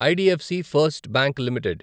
IDFC first bank limited